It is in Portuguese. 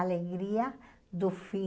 alegria do fim.